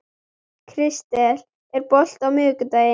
Kristel, er bolti á miðvikudaginn?